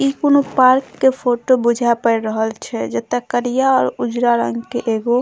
इ कुनू पार्क के फोटो बुझा पेर रहल छै जता करिया और उजरा रंग के एगो --